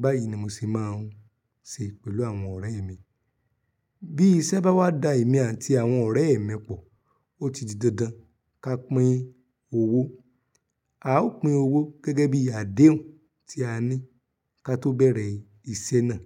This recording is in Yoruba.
Báyìí ni mo sì máa ń ṣe pẹ̀lú àwọn ọ̀rẹ́ mi. Bí iṣẹ́ bá wá da èmi àti àwọn ọ̀rẹ́ mi pọ̀, ó ti di dandan ká pín owó. A ó pín owó gẹ́gẹ́ bí àdéhùn tí a ní ka tó bẹ̀rẹ̀ ìṣe náà.